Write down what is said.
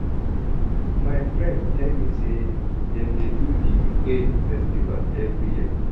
My friend tell me sey dem dey do di Ekpe festival every year.